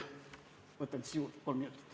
Võtan juurde kolm minutit.